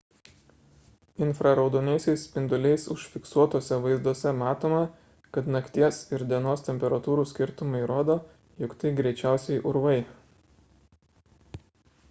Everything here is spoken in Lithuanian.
infraraudonaisiais spinduliais užfiksuotuose vaizduose matoma kad nakties ir dienos temperatūrų skirtumai rodo jog tai greičiausiai urvai